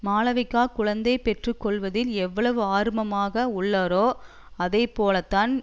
மாளவிகா குழந்தை பெற்று கொள்வதில் எவ்வளவு ஆர்வமாக உள்ளாரோ அதே போலதான்